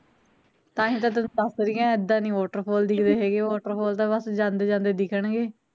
ਤਾਂਹੀਂ ਤਾਂ ਤੈਨੂੰ ਦੱਸ ਰਹੀ ਆ ਇੱਦਾਂ ਨੀ water fall ਦਿੱਖਦੇ ਹੈਗੇ water fall ਤਾਂ ਬਸ ਜਾਂਦੇ ਜਾਂਦੇ ਦਿੱਖਣਗੇ